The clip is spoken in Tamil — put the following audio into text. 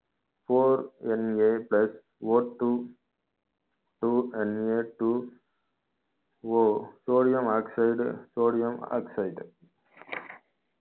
fourNAplusOtwo twoNAtwoOsodium oxide sodium oxide